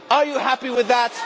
Are you happy with that?